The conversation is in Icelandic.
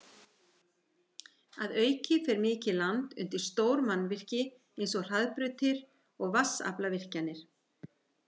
Að auki fer mikið land undir stór mannvirki eins og hraðbrautir og vatnsaflsvirkjanir.